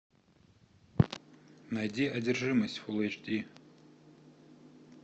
найди одержимость фул эйч ди